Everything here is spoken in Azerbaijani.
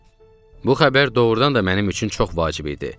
Bu xəbər doğurdan da mənim üçün çox vacib idi.